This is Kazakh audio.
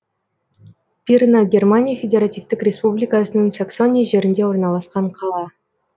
пирна германия федеративтік республикасының саксония жерінде орналасқан қала